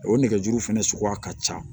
O nɛgɛjuru fɛnɛ suguya ka ca